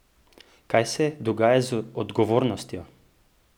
Kaj se dogaja z odgovornostjo?